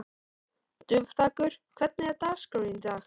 Dufþakur, hvernig er dagskráin í dag?